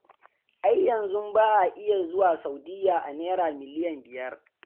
Ai yanzu ba a iya zuwa Saudiya a Naira miliyan biyar.